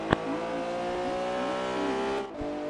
на ютьюбе максимьюзик